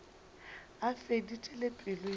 a feditše le pelo ya